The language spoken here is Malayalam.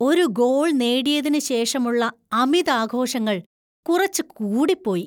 ഒരു ഗോൾ നേടിയതിന് ശേഷമുള്ള അമിതാഘോഷങ്ങൾ കുറച്ച് കൂടിപ്പോയി.